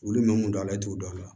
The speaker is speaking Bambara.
Wulu min do ala t'o dɔn a la